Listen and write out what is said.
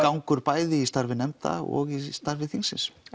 gangur bæði í starfi nefnda og í starfi þingsins